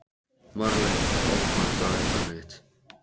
Marley, opnaðu dagatalið mitt.